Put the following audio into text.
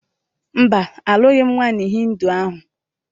Mba, alụghị m nwaanyị Hịndu ahụ